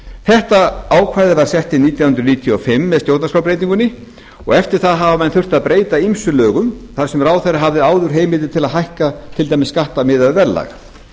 þetta ákvæði var sett inn nítján hundruð níutíu og fimm með stjórnarskrárbreytingunni og eftir það hafa menn þurft að breyta ýmsum lögum þar sem ráðherra hafði áður heimildir til að hækka til dæmis skatta miðað við verðlag